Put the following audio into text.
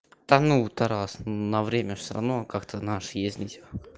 та ну тарас на время же всё равно как-то наш ездить